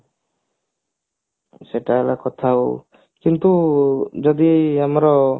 ସେଟା ହେଲା କଥା ଆଉ କିନ୍ତୁ ଯଦି ଆମର